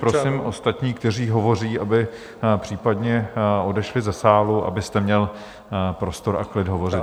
Prosím ostatní, kteří hovoří, aby případně odešli ze sálu, abyste měl prostor a klid hovořit.